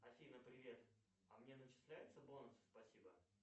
афина привет а мне начисляются бонусы спасибо